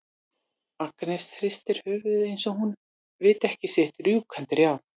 Agnes hristir höfuðið eins og hún viti ekki sitt rjúkandi ráð.